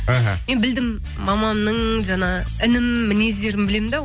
аха мен білдім мамамның жаңа інім мінездерін білемін де